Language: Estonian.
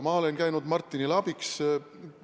Ma olen käinud Martinile abiks.